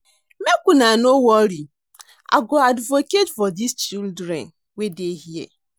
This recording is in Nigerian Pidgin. Make una no worry I go advocate for dis children wey dey here